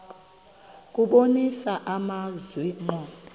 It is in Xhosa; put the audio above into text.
kubonisa amazwi ngqo